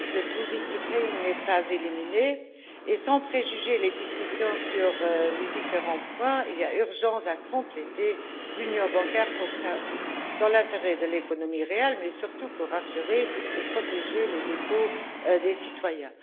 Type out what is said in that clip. Le risque des too big to fail n'est pas éliminé et, sans préjuger les discussions sur les différents points, il y a urgence à compléter l'Union bancaire dans l'intérêt de l'économie réelle, mais surtout pour rassurer et protéger les dépôts des citoyens.